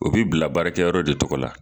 O bɛ bila baarakɛyɔrɔ de tɔgɔ la.